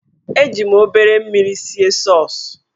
Eji m obere mmiri sie sọọs.